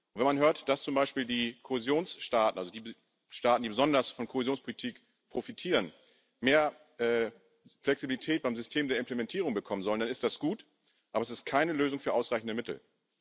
Wenn man hört, dass zum Beispiel die Kohäsionsstaaten also die Staaten, die besonders von Kohäsionspolitik profitieren mehr Flexibilität beim System der Implementierung bekommen sollen, dann ist das gut, aber es ist keine Lösung für ausreichende Mittel.